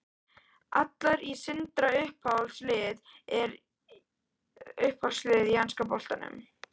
Allar í Sindra Uppáhalds lið í enska boltanum?